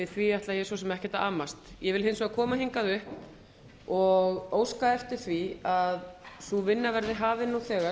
við því ætla ég svo sem ekkert að amast ég vil hins vegar koma hingað upp og óska eftir því að sú vinna verði hafin nú þegar